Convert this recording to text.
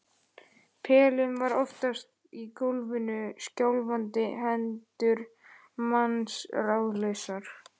Pelinn var oftast í gólfinu og skjálfandi hendur manns ráðlausar.